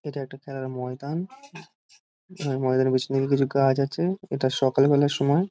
এটা একটা খেলার ময়দান ময়দানের পেছন দিকে কিছু গাছ আছে এটা সকাল বেলার সময়।